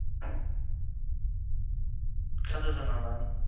சந்தோசம் தான் mam